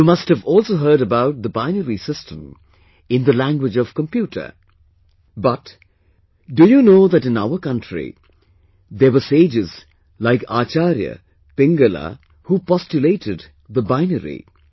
You must have also heard about the binary system in the language of computer, butDo you know that in our country there were sages like Acharya Pingala, who postulated the binary